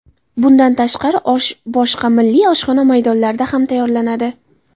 Bundan tashqari osh boshqa milliy oshxona maydonlarida ham tayyorlanadi.